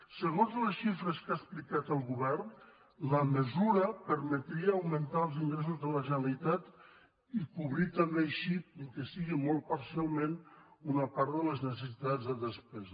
segons les xifres que ha explicat el govern la mesura permetria augmentar els ingressos de la generalitat i cobrir també així ni que sigui molt parcialment una part de les necessitats de despesa